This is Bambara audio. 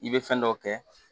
I bɛ fɛn dɔ kɛ